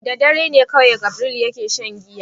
Da dare ne kawai Gabriel ke shan giya.